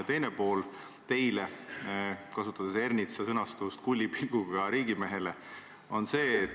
Ja teine pool teile kui – kasutan Ernitsa sõnastust – kullipilguga riigimehele on selline.